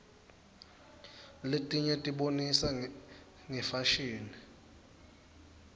letinye tibonisa ngefashini